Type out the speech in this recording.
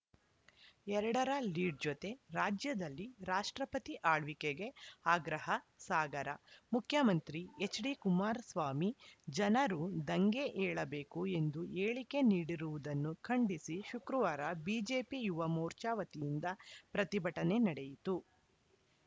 ಎರಡ ರ ಲೀಡ್‌ ಜೊತೆ ರಾಜ್ಯದಲ್ಲಿ ರಾಷ್ಟ್ರಪತಿ ಆಳ್ವಿಕೆಗೆ ಆಗ್ರಹ ಸಾಗರ ಮುಖ್ಯಮಂತ್ರಿ ಎಚ್‌ಡಿಕುಮಾರಸ್ವಾಮಿ ಜನರು ದಂಗೆ ಏಳಬೇಕು ಎಂದು ಹೇಳಿಕೆ ನೀಡಿರುವುದನ್ನು ಖಂಡಿಸಿ ಶುಕ್ರವಾರ ಬಿಜೆಪಿ ಯುವಮೋರ್ಚಾ ವತಿಯಿಂದ ಪ್ರತಿಭಟನೆ ನಡೆಯಿತು